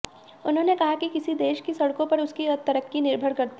उन्होंने कहा कि किसी देश की सड़कों पर उसकी तरक्की निर्भर करती है